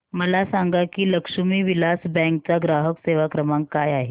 मला सांगा की लक्ष्मी विलास बँक चा ग्राहक सेवा क्रमांक काय आहे